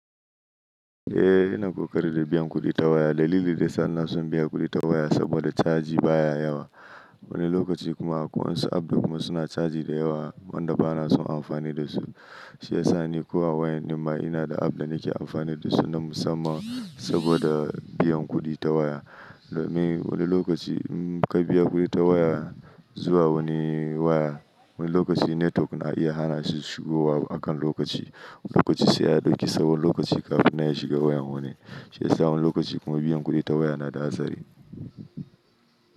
Eh ina kokari da biyan kuɗi ta waya. Dalilin da yasa ina san biyan kuɗi ta waya saboda caji baya yawa. Wani lokaci kuma akwai wasu app kuma suna caji da yawa wanda ba na son amfani da su. Shi ya sa ni a wayan ɗin ma ina da app da nake amfani da su na musamman saboda biyan kuɗi ta waya. Me wani lokaci inka biya kuɗi ta waya zuwa wani waya. Wani lokaci netwok na iya hana shi shigowa akan lokaci. Wani lokaci sai ya ɗauki tsawon lokaci kafina ya shiga wayan wani. Shi ya sa wani lokaci kuma biyan kuɗi ta waya na da hatsari.